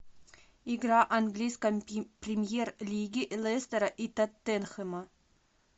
игра английской премьер лиги лестера и тоттенхэма